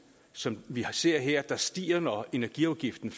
som vi ser her der stiger når energiprisen